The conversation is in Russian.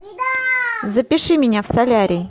запиши меня в солярий